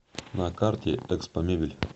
на карте экспомебель